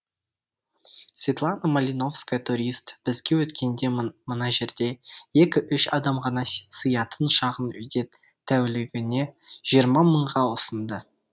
светлана малиновская турист бізге өткенде мына жерде екі үш адам ғана сиятын шағын үйді тәулігіне жиырма мыңға ұсынды